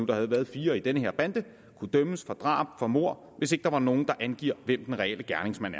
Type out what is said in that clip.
der havde været fire i den her bande kunne dømmes for drab for mord hvis der ikke var nogen der angav hvem den reelle gerningsmand